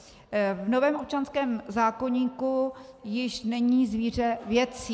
V novém občanském zákoníku již není zvíře věcí.